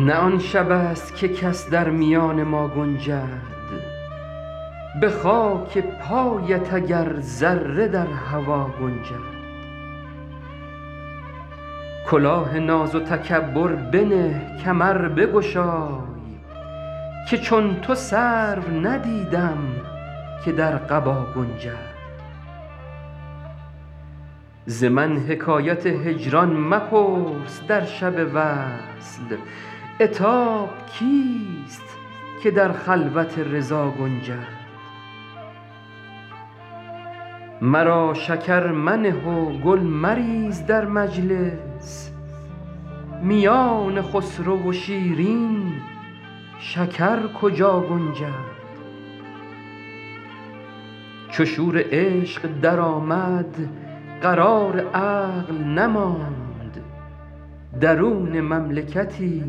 نه آن شبست که کس در میان ما گنجد به خاک پایت اگر ذره در هوا گنجد کلاه ناز و تکبر بنه کمر بگشای که چون تو سرو ندیدم که در قبا گنجد ز من حکایت هجران مپرس در شب وصل عتاب کیست که در خلوت رضا گنجد مرا شکر منه و گل مریز در مجلس میان خسرو و شیرین شکر کجا گنجد چو شور عشق درآمد قرار عقل نماند درون مملکتی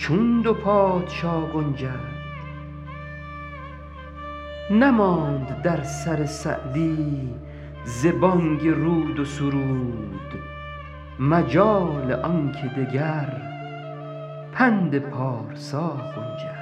چون دو پادشا گنجد نماند در سر سعدی ز بانگ رود و سرود مجال آن که دگر پند پارسا گنجد